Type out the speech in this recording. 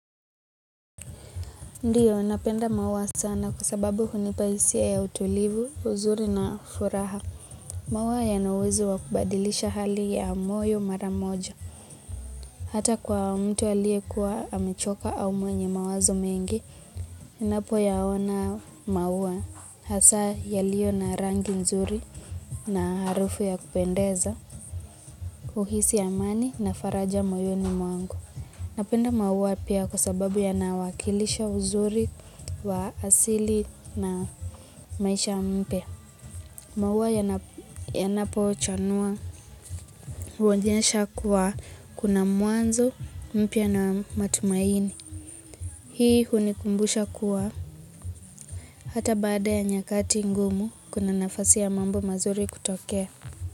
Ndiyo, napenda maua sana kwa sababu unipa hisia ya utulivu, uzuri na furaha. Maua yana uwezo wa kubadilisha hali ya moyo mara moja. Hata kwa mtu alie kuwa amichoka au mwenye mawazo mengi, inapoyaona maua hasa yaliiyo na rangi nzuri na harufu ya kupendeza, uhisi amani na faraja moyoni mwangu. Napenda maua pia kwa sababu yanawakilisha uzuri wa asili na maisha mpya. Maua yanapo chanua uonyesha kuwa kuna mwanzo mpya na matumaini. Hii unikumbusha kuwa hata baada ya nyakati ngumu kuna nafasi ya mambo mazuri kutokea.